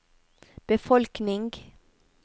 befolkning